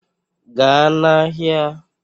Gaa n'ahịa!